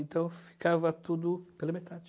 Então, ficava tudo pela metade.